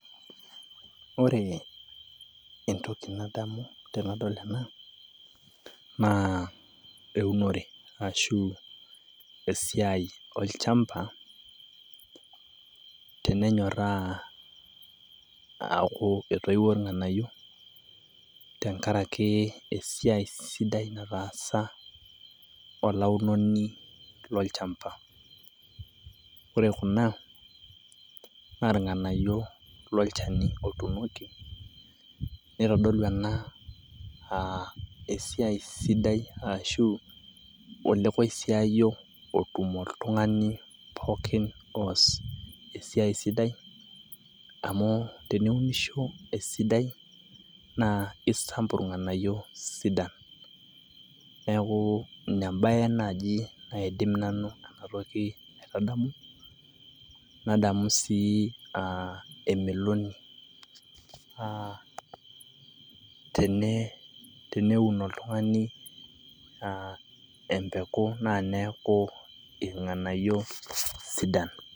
ore ene entoki nadamu tenadol ena naa eunore ashu esiai olchamba tenenyoraa aku etoiwuo irnganayio tenkaraki esiai sidai nataasa olaunoni lolchamba. ore kuna naa irnganayio lolchani otunoki neitodolu ena aa esiai sidai ashu ole koisiayio otum oltungani pokin oos esiai sidai amu teniunisho esidai naa isampu irnganayio sidan. neku ine embae naji naidim nanu ena toki aitadamu. nadamu sii emeloni teneun oltungani empeku naa neeku irnganayio sidan.